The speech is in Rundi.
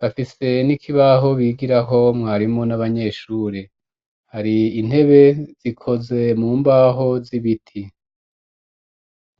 bafise n'ikibaho bigiraho mwarimu n'abanyeshure hari intebe zikoze mu mbaho z'ibiti.